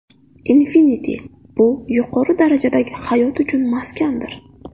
Infinity bu yuqori darajadagi hayot uchun maskandir.